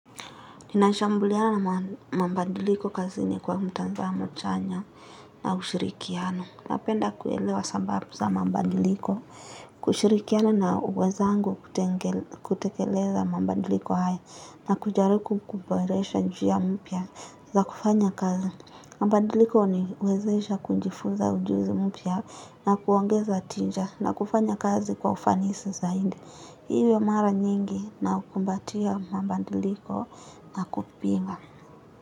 Ninashambuliana na mambadiliko kazini kwa mtazamo chanya na ushirikiano. Napenda kuelewa sababu za mabadiliko, kushirikiana na wenzangu kutekeleza mabadiliko haya na kujaribu kuboresha njia mpya za kufanya kazi. Mabadiliko huniwezesha kujifunza ujuzi mpya na kuongeza tija na kufanya kazi kwa ufanisi zaidi. Iwe mara nyingi naukumbatia mabadiliko na kupinga.